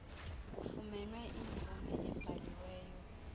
kufunyanwe imvume ebhaliweyo